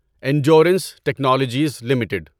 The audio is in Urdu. Endurance Technologies limited